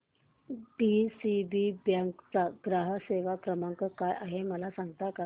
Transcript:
DCB bank चा ग्राहक सेवा क्रमांक काय आहे मला सांगता का